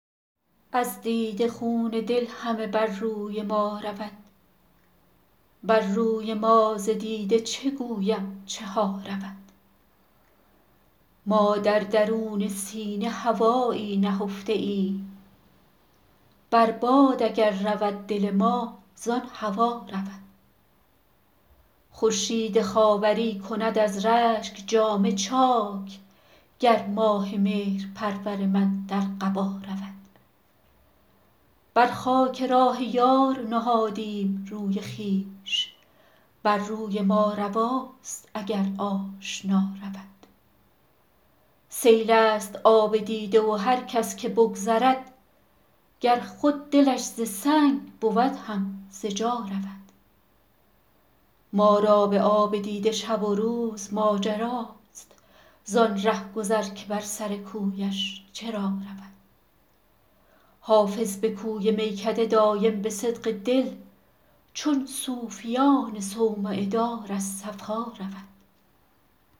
از دیده خون دل همه بر روی ما رود بر روی ما ز دیده چه گویم چه ها رود ما در درون سینه هوایی نهفته ایم بر باد اگر رود دل ما زان هوا رود خورشید خاوری کند از رشک جامه چاک گر ماه مهرپرور من در قبا رود بر خاک راه یار نهادیم روی خویش بر روی ما رواست اگر آشنا رود سیل است آب دیده و هر کس که بگذرد گر خود دلش ز سنگ بود هم ز جا رود ما را به آب دیده شب و روز ماجراست زان رهگذر که بر سر کویش چرا رود حافظ به کوی میکده دایم به صدق دل چون صوفیان صومعه دار از صفا رود